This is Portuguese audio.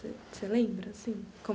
Você lembra assim?